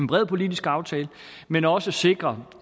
bred politisk aftale men også sikre